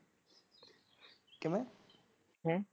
ਕਿਵੇਂ ਹੈਂ?